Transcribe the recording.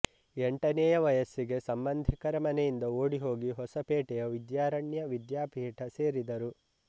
ಎಂಟನೇಯ ವಯಸ್ಸಿಗೆ ಸಂಬಂಧಿಕರ ಮನೆಯಿಂದ ಓಡಿ ಹೋಗಿ ಹೊಸಪೇಟೆಯ ವಿದ್ಯಾರಣ್ಯ ವಿದ್ಯಾಪೀಠ ಸೇರಿದರು